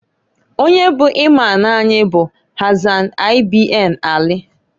Onye bụ Imam anyị bụ Hasan ibn Ali.